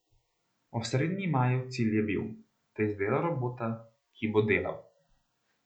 Osrednji Majev cilj je bil, da izdela robota, ki bo delal.